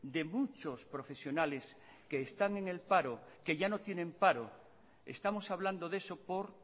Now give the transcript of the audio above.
de muchos profesionales que están en el paro que ya no tiene paro estamos hablando de eso por